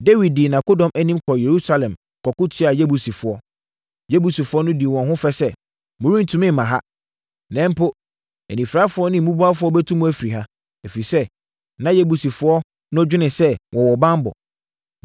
Dawid dii nʼakodɔm anim kɔɔ Yerusalem kɔko tiaa Yebusifoɔ. Yebusifoɔ no dii wɔn ho fɛ sɛ, “Morentumi mma ha. Na mpo, anifirafoɔ ne mmubuafoɔ bɛtu mo afiri ha.” Ɛfiri sɛ, na Yebusifoɔ no dwene sɛ wɔwɔ banbɔ.